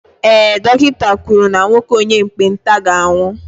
ee, dọkịta kwuru na nwoke onye ekpenta ga-anwụ